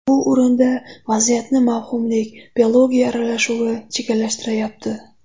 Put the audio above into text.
Bu o‘rinda vaziyatni mavhumlik – biologiya aralashuvi chigallashtiryapti.